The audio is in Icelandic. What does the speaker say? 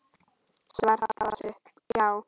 Svar pabba var stutt: Já!